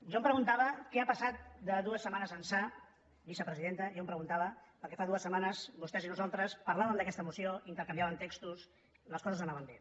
jo em preguntava què ha passat de dues setmanes ençà vicepresidenta perquè fa dues setmanes vostès i nosaltres parlàvem d’aquesta moció intercanviàvem textos les coses anaven bé